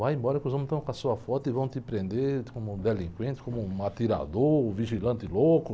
Vai embora que os homens estão com a sua foto e vão te prender como um delinquente, como um atirador, um vigilante louco.